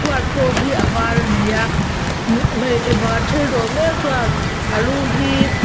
chhuat pawh hi a var ani a hmm hmeichhe pakhat thil dawr mek chuan a lu hi--